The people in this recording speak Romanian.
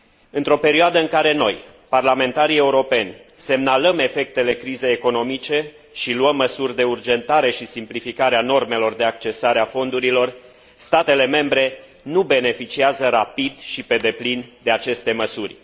Într o perioadă în care noi, parlamentarii europeni, semnalăm efectele crizei economice și luăm măsuri de urgentare și simplificare a normelor de accesare a fondurilor, statele membre nu beneficiază rapid și pe deplin de aceste măsuri.